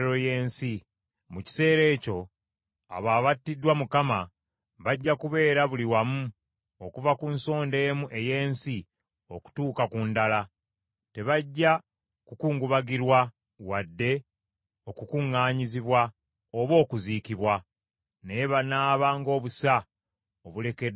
Mu kiseera ekyo abo abattiddwa Mukama bajja kubeera buli wamu okuva ku nsonda emu ey’ensi okutuuka ku ndala. Tebajja kukungubagirwa wadde okukuŋŋaanyizibwa oba okuziikibwa, naye banaaba ng’obusa obulekeddwa ku ttaka.